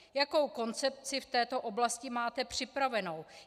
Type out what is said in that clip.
Jakou koncepci v této oblasti máte připravenou?